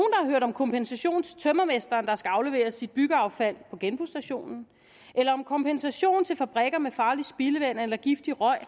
om kompensation til tømrermesteren der skal afleveres sit byggeaffald på genbrugsstationen eller om kompensation til fabrikker med farlig spildevand eller giftig røg